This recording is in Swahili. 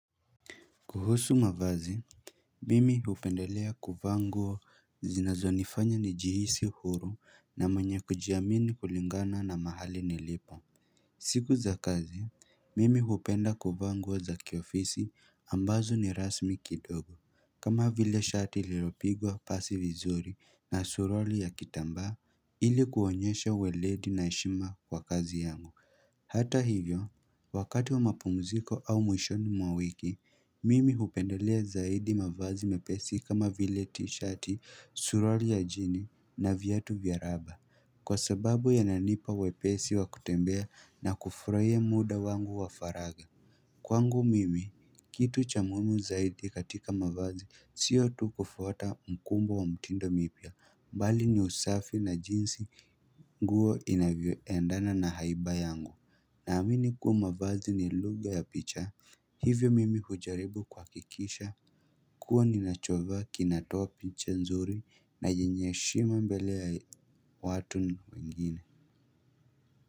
Kuhusu mavazi, mimi hupendelea kuvaa nguo zinazo nifanya ni jihisi huru na mwenye kujiamini kulingana na mahali nilipo. Siku za kazi, mimi hupenda kuvaa nguo za kiofisi ambazo ni rasmi kidogo. Kama vile shati liropigwa pasi vizuri na suruali ya kitambaa ili kuonyesha weledi na heshima kwa kazi yangu. Hata hivyo, wakati wa mapumziko au mwishoni mwawiki, mimi hupendelea zaidi mavazi mepesi kama vile t-shirt suruari ya jini na viatu vyaraba Kwa sababu yananipa wepesi wa kutembea na kufuraia muda wangu wa faraja Kwangu mimi, kitu cha muimu zaidi katika mavazi sio tu kufuata mkumbo wa mtindo mipya, bali ni usafi na jinsi nguo inavyo endana na haiba yangu na amini kuwa mavazi ni lugha ya picha hivyo mimi hujaribu kuhakikisha kuwa ni nachovaa kinatoapicha nzuri na yenye heshima mbelea watu wengine.